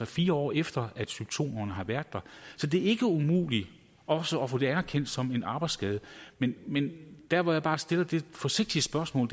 fire år efter symptomerne har været der så det er ikke umuligt også at få det anerkendt som en arbejdsskade men men der hvor jeg bare stiller det forsigtige spørgsmål